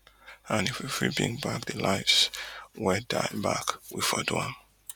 and if we fit bring back di lives wey die back we for do am